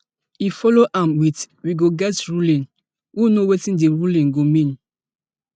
e follow am wit we go get ruling who know wetin di ruling go mean